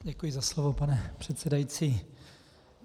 Děkuji za slovo, pane předsedající.